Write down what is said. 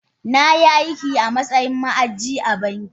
Na yi aiki a matsayin ma’aji a banki.